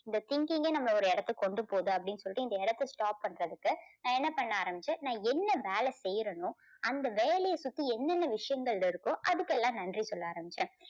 இந்த thinking கே நம்மளாய் ஒரு இடத்துக்கு கொண்டு போகுது அப்படின்னு சொல்லிட்டு இந்த இடத்தை stop பண்றதுக்கு நான் என்ன பண்ண ஆரம்பிச்சேன் நான் என்ன வேலை செய்றனோ அந்த வேலையை சுத்தி என்னென்ன விஷயங்கள் இருக்கோ அதுக்கெல்லாம் நன்றி சொல்ல ஆரம்பிச்சேன்.